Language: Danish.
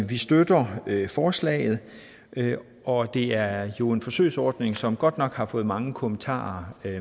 vi støtter forslaget og det er jo en forsøgsordning som godt nok har fået mange kommentarer